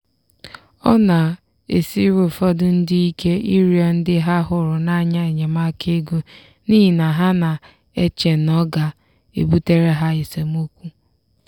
ọ na-esiri ụfọdụ ndị ike ịrịọ ndị ha hụrụ n'anya enyemaka ego n'ihi na ha na-eche na ọ ga-ebutere ha esemokwu.